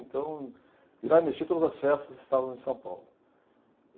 Então, virava e mexia todas as festas estávamos em São Paulo.